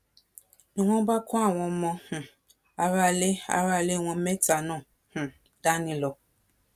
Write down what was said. ni wọn bá kó àwọn ọmọ um aráalé aráalé wọn mẹ́ta náà um dání lọ